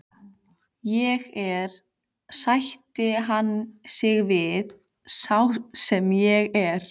Ég er, sætti hann sig við, sá sem ég er.